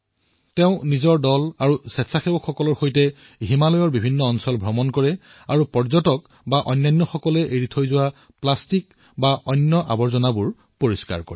তেওঁ নিজৰ দল আৰু স্বেচ্ছাসেৱীসকলৰ সৈতে হিমালয়ৰ বিভিন্ন এলেকালৈ যায় আৰু যি প্লাষ্টিকআৱৰ্জনা পৰ্যটকসকলে এৰি থৈ যায় সেয়া পৰিষ্কাৰ কৰে